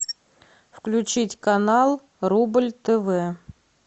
включить канал рубль тв